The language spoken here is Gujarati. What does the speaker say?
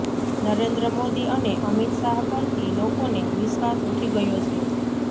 નરેન્દ્ર મોદી અને અમિત શાહ પરથી લોકોને વિશ્વાસ ઉઠી ગયો છે